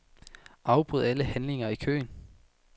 Afbryd alle handlinger i køen.